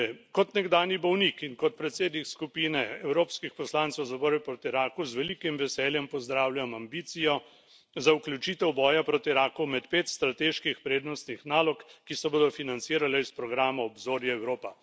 Kot nekdanji bolnik in kot predsednik skupine evropskih poslancev za boj proti raku z velikim veseljem pozdravljam ambicijo za vključitev boja proti raku med pet strateških prednostnih nalog, ki se bodo financirale iz programa Obzorje Evropa.